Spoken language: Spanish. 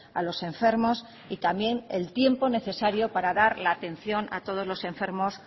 a los enfermos y también el tiempo necesario para dar la atención a todos los enfermos